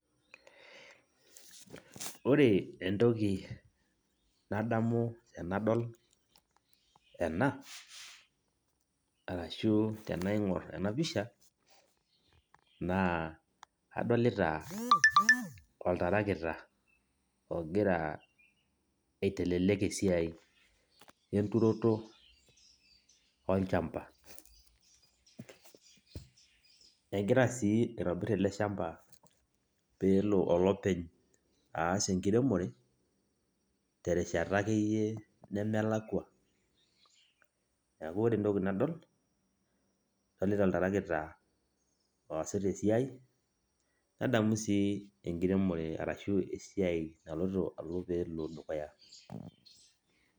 Ore entoki nadamu tenadol ena, arashu tenaing'or enapisha, naa adolita oltarakita ogira aitelelek esiai enturoto olchamba. Egira si aitobir ele shamba peelo olopeny aas enkiremore, terishata akeyie nemelakwa. Neeku ore entoki nadol, adolita oltarakita oosita esiai, nadamu si enkiremore arashu esiai naloito alo pelo dukuya.